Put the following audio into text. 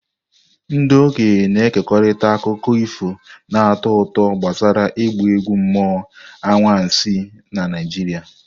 Ndị okenye na-ekerịta akụkọ ifo na-atọ ụtọ gbasara ịgba egwu mmụọ anwansi na Naijiria.